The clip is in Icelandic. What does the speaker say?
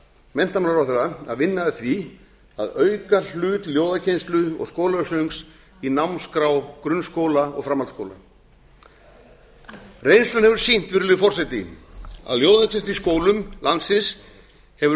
menntamálaráðherra að vinna að því að auka hlut ljóðakennslu og skólasöngs í námskrá grunnskóla og framhaldsskóla reynslan hefur sýnt virðulegi forseti að ljóðakennsla í skólum landsins hefur